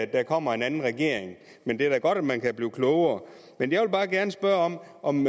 der kommer en anden regering men det er da godt at man kan blive klogere jeg vil gerne spørge om